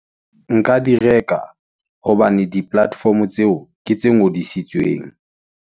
Nka di reka, hobane di platform-o tseo, ke tse ngodisitsweng.